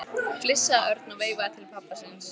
flissaði Örn og veifaði til pabba síns.